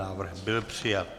Návrh byl přijat.